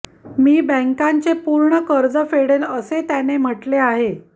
मी बॅंकांचे पूर्ण कर्ज फेडेन असे त्याने म्हटले आहे